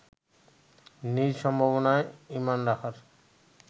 নিজের সম্ভাবনায় ইমান রাখার